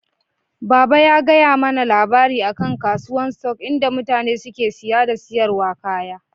Baba ya gaya mana labari akan kasuwan "stock" in da mutane suke siya da siyarwa kaya.